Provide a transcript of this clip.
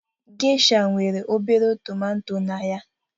Geisha nwere obere tomato na ya